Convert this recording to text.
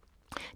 DR2